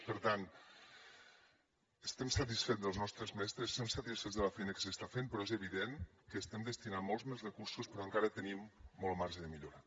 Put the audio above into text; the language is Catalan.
per tant estem satisfets dels nostres mestres estem satisfets de la feina que s’està fent però és evident que estem destinant molts més recursos però encara tenim molt marge de millora